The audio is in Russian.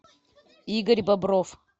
игорь бобров